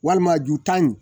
Walima ju tan in